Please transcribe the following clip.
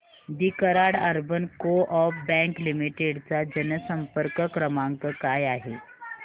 दि Karad urban coop bank limited चा जनसंपर्क क्रमांक काय आहे